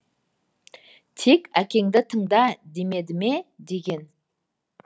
тек әкеңді тыңда демеді ме деген